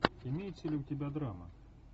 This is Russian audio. имеется ли у тебя драма